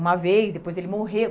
Uma vez, depois ele morreu.